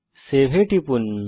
save এ টিপুন